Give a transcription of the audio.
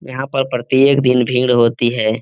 यहाँ पर प्रति एक दिन भीड़ होती है।